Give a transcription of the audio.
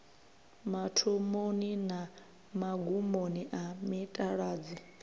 mathomoni na magumoni a mitaladzi